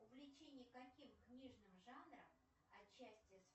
увлечение каким книжным жанром отчасти